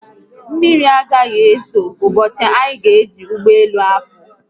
Mmiri agaghị ezo ụbọchị anyị ga-eji ụgbọelu apụ